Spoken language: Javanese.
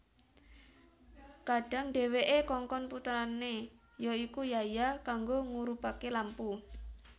Kadhang dhèwèké kongkon putrané ya iku Yahya kanggo ngurubaké lampu